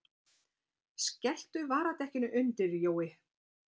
Skelltu varadekkinu undir, Jói!